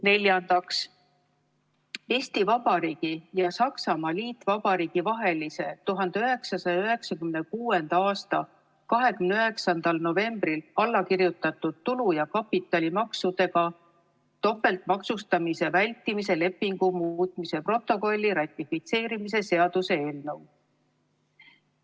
Neljandaks, Eesti Vabariigi ja Saksamaa Liitvabariigi vahelise 1996. aasta 29. novembril allakirjutatud tulu- ja kapitalimaksudega topeltmaksustamise vältimise lepingu muutmise protokolli ratifitseerimise seaduse eelnõu.